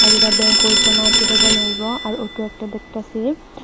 আরে দা ব্যাংক ঐ ফো মার্কেটে জানাইবো ওই আর অটো একটা দেখতাছি।